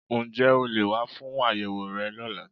Ǹ jé o leè wá fún àyẹ̀wò rẹ lọ́la